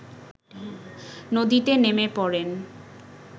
নদীতে নেমে পড়েন